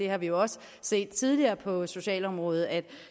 har vi også set tidligere på socialområdet at